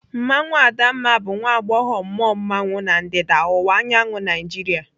Mmanwụ Adamma bụ nwa agbọghọ mmụọ mmanwụ na ndịda ọwụwa anyanwụ Nigeria.